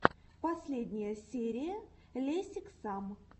последняя серия лесиксам